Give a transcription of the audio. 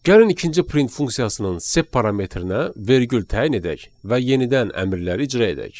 Gəlin ikinci print funksiyasının sep parametrininə vergül təyin edək və yenidən əmrləri icra edək.